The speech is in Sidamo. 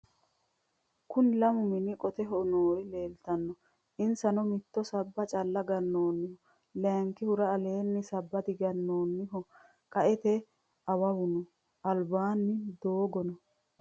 Kunni lammu mini qoteho noori leelitanno inisanno mittu sabba calla ganenniho layinikihura alenni sabba digganenni qaette awawu noo alibbani dooggono noo